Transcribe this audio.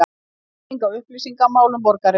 Breyting á upplýsingamálum borgarinnar